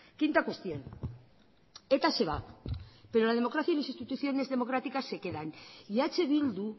quinta cuestión eta se va pero la democracia y las instituciones democráticas se quedan y eh bildu